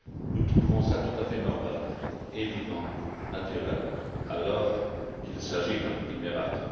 nous trouvons cela tout à fait normal, évident et naturel, alors qu'il s'agit d'un petit miracle.